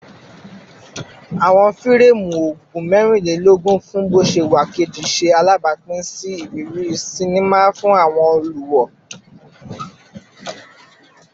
Awọn fireemu ogun mẹrinlelogun fun boṣewa keji ṣe alabapin si iriri sinima fun awọn oluwo